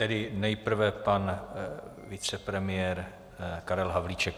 Tedy nejprve pan vicepremiér Karel Havlíček.